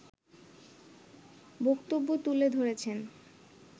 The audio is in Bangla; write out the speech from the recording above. বক্তব্য তুলে ধরেছেন